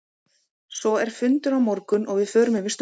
Svo er fundur á morgun og við förum yfir stöðuna.